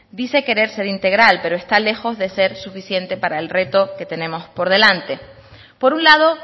dice querer ser integral pero está lejos de ser suficiente para el reto que tenemos por delante por un lado